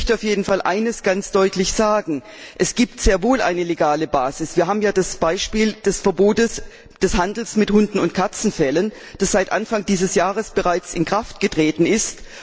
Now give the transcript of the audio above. Ich möchte auf jeden Fall eines ganz deutlich sagen Es gibt sehr wohl eine legale Basis! Wir haben ja zum Beispiel das Verbot des Handels mit Hunde und Katzenfellen, das Anfang dieses Jahres bereits in Kraft getreten ist.